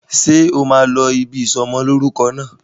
Ṣé o máa lọ ibi ìsọ'mọlórúkọ náà?